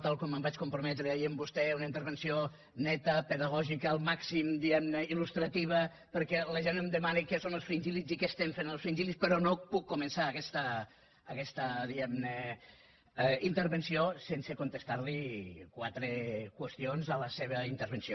tal com em vaig comprometre ahir amb vostè una intervenció neta pedagògica al màxim diguem ne il·lustrativa perquè la gent em demana què són els fringíl·lids i què estem fent amb els fringílno puc començar aguesta diguem ne intervenció sense contestar li quatre qüestions de la seva intervenció